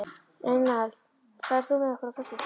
Reynald, ferð þú með okkur á föstudaginn?